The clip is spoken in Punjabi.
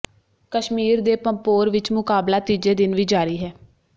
ਕਸ਼ਮੀਰ ਦੇ ਪੰਪੋਰ ਵਿੱਚ ਮੁਕਾਬਲਾ ਤੀਜੇ ਦਿਨ ਵੀ ਜ਼ਾਰੀ ਹੈ